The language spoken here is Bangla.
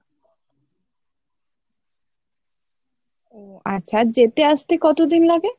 ও আচ্ছা আর যেতে আসতে কত দিন লাগে?